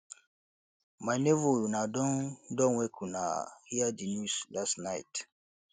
my nebor una don don wake una hear di news last night